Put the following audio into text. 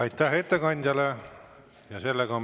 Aitäh ettekandjale!